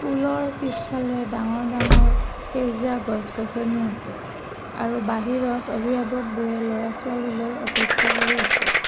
স্কুলৰ পিছফালে ডাঙৰ ডাঙৰ সেউজীয়া গছগছনি আছে আৰু বাহিৰত অবিভাৱকবোৰে ল'ৰাছোৱালীলৈ আপেক্ষা কৰি আছে।